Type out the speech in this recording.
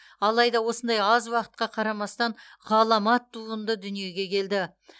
алайда осындай аз уақытқа қарамастан ғаламат туынды дүниеге келді